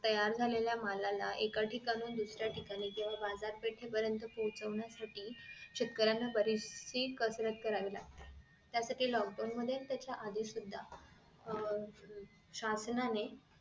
तयार झालेलं मालाला एका ठिकाणाहून दुसऱ्या ठिकाणी केंव्हा बाजार पेठ पर्यंत पोचवण्यासाठी शेतकऱ्यांना बरीचशी कसरत करावी लागते त्यासाठी lock down मध्ये त्याच्या आधी सुद्धा शासनाने